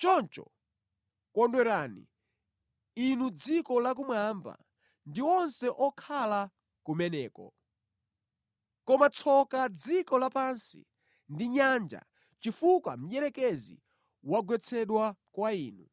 Choncho, kondwerani, inu dziko lakumwamba ndi onse okhala kumeneko! Koma tsoka dziko lapansi ndi nyanja chifukwa Mdierekezi wagwetsedwa kwa inu!